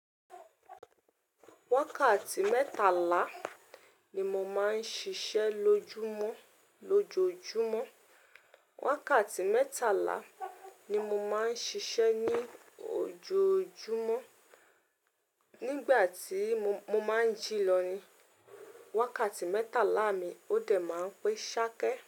Wákàtí mẹ́tàlá ni mo máa ń ṣiṣẹ́ lójúmọ́ lojojumọ Wákàtí mẹ́tàlá ni mo máa ń ṣiṣẹ́ ní ójoojúmọ́. Nígbà tí mo máa ń jí lọ ni, wákàtí mẹ́tàlá mi, ó dẹ̀ máa ń pé ṣákẹ́